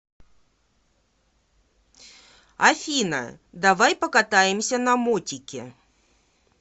афина давай покатаемся на мотике